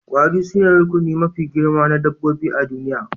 Kwari sune rukuni mafi girma na dabbobi a duniya